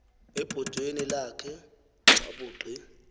ebhotweni lakhe wabugqi